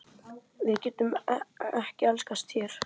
Við getum ekki elskast hér.